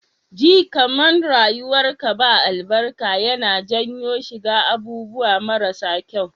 Ji kaman rayuwar ka ba albarka yAna janyo shiga abubuwa mara sa kyau